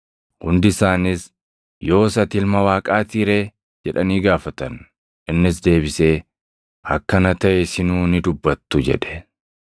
Hundi isaaniis, “Yoos ati Ilma Waaqaatii ree?” jedhanii gaafatan. Innis deebisee, “Akka ana taʼe isinuu ni dubbattu!” jedhe.